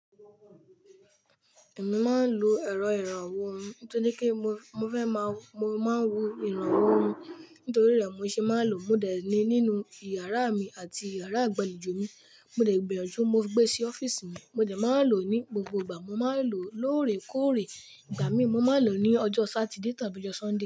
Èmi máa ń lo ẹ̀rọ ìrànwọ́ òhún, tó ní kí mo fẹ́ máa, mo máa ń wo ìrànwọ́ òhún. Nítorí rẹ̀ mo ṣe máa ń lò, mo dè ní nínú ìyàrá mi àti ìyàrá ìgbàlejò mi. Mo dè gbinyanjú, mo gbé sí ọ́fíìsì mi. Mo dè máa ń lò ní gbogbo ìgbà. Mo máa ń lò lóòrèkóòrè. Ìgbà míì mo máa ń lò ní ọjọ́ Saturday tàbí ọjọ́ Sunday.